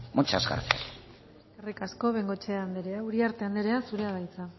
muchas gracias eskerrik asko bengoechea andrea uriarte andrea zurea da hitza